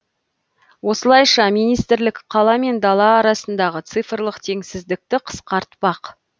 осылайша министрлік қала мен дала арасындағы цифрлық теңсіздікті қысқартпақ